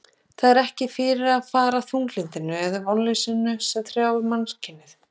Það er ekki fyrir að fara þunglyndinu og vonleysinu sem hrjáir mannkynið.